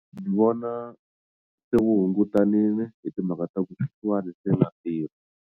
Ni vona se wu hungutanile hi timhaka ta ku sweswiwani se na tirha.